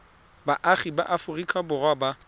baagi ba aforika borwa ba